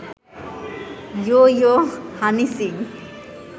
ইয়ো yo Honey Singh